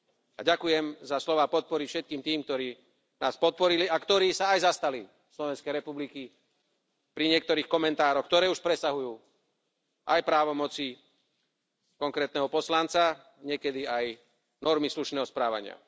A ďakujem za slová podpory všetkým tým, ktorí nás podporili a ktorí sa aj zastali Slovenskej republiky pri niektorých komentároch, ktoré už presahujú aj právomoci konkrétneho poslanca, niekedy aj normy slušného správania.